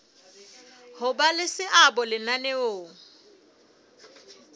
ho ba le seabo lenaneong